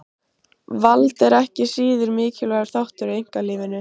Vald er ekki síður mikilvægur þáttur í einkalífinu.